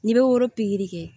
N'i bɛ woro pikiri kɛ